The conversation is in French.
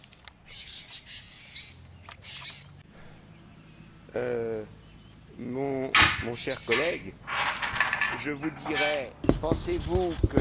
Cher collègue, je vous dirais Pensez vous que le blocus de Gaza a empêché l'entrée de roquettes à Gaza?.